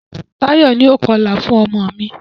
Táyọ̀ ni o kọlà fún ọmọ mi.